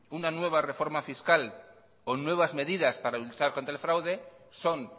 una nueva reforma fiscal o nuevas medidas para luchar con el fraude son